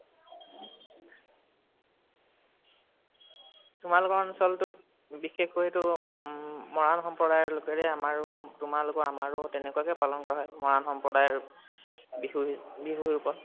তোমালোকৰ অঞ্চলটোত বিশেষকৈ তো উম মহান সম্প্ৰদায় লোকেৰেই আমাৰো, তোমালোকৰ আমাৰো তেনেকৱাকেই পালন কৰা হয়, মহান সম্প্ৰদায় বিহু, বিহু ৰোপত।